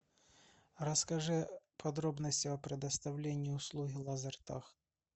расскажи подробности о предоставлении услуги лазертаг